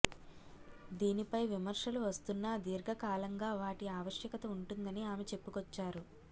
దీనిపై విమర్శలు వస్తున్నా దీర్ఘకాలంగా వాటి ఆవశ్యకత ఉంటుందని ఆమె చెప్పుకొచ్చారు